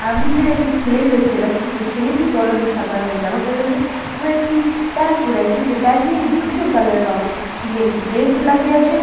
আমি এখানে একটি ছেলেকে দেখতে পাচ্ছি যে ছেলেটি পরনে সাদারঙের জামা পরে আছে এবং একটি প্যান্ট পরে আছে যে প্যান্ট -টি ধূসর কালার এর রং তিনি একটি বেল্ট ও লাগিয়েছে--